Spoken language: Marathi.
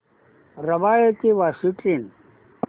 रबाळे ते वाशी ट्रेन